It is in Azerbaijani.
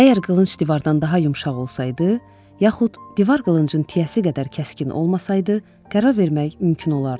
Əgər qılınc divardan daha yumşaq olsaydı, yaxud divar qılıncın tiyəsi qədər kəskin olmasaydı, qərar vermək mümkün olardı.